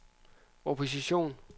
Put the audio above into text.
opposition